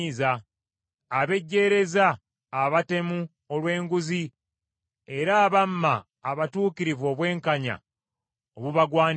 abejjeereza abatemu olw’enguzi era abamma abatuukirivu obwenkanya obubagwanidde.